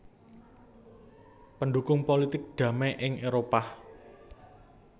Pendhukung pulitik damai ing Éropah